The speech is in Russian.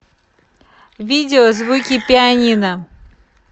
видео звуки пианино